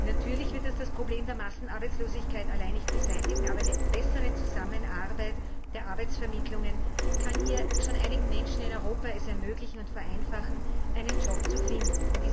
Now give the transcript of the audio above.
Natürlich wird dies das Problem der Massenarbeitslosigkeit allein nicht beseitigen, aber eine bessere Zusammenarbeit der Arbeitsvermittlungen kann es schon einigen Menschen in Europa ermöglichen und vereinfachen, einen Job zu finden.